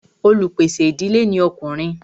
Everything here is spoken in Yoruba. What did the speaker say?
olupèsè ìdílé ní Ọkùnrin.